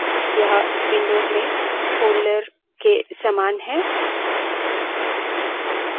directory हमें अपनी फाइलों को व्यवस्थित रूप में आयोजन करने में मदद करती है